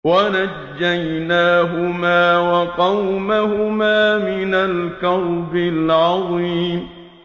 وَنَجَّيْنَاهُمَا وَقَوْمَهُمَا مِنَ الْكَرْبِ الْعَظِيمِ